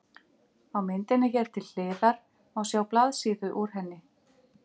Á myndinni hér til hliðar má sjá blaðsíðu úr henni.